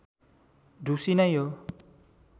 ढुसी नै हो